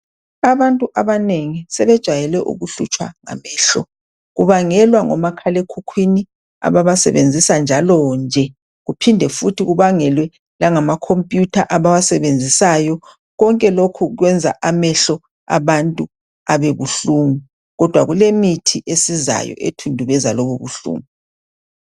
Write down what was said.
Abantu abanengi sebejayele ukuhlutshwa ngamehlo kubangelwa ngomakhalekhukhwini ababasebenzisa njalonje kuphinde futhi kubangelwe langamakhompuyutha abawasebenzisayo. Konke lokhu kuyenza amehlo abantu abebuhlungu kodwa kulemithi esizayo ethundubeza lobubuhlungu.